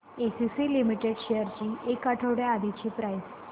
ACC limited shares ची एक आठवड्या आधीची प्राइस